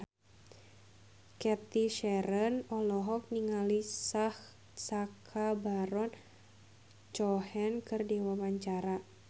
Cathy Sharon olohok ningali Sacha Baron Cohen keur diwawancara